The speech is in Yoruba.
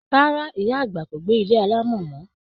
Rárá, iya agba ko gbe ilé alamo mọ.